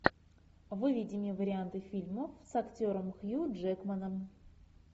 выведи мне варианты фильмов с актером хью джекманом